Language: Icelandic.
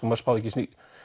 maður spáði ekki